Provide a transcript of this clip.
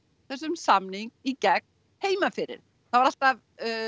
þessum samningi í gegn heima fyrir það var alltaf